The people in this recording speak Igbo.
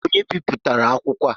Onye bipụtara akwụkwọ a?